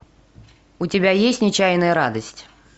у тебя есть нечаянная радость